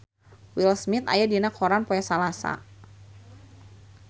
Will Smith aya dina koran poe Salasa